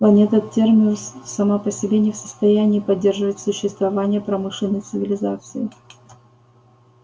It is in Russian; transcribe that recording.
планета терминус сама по себе не в состоянии поддерживать существование промышленной цивилизации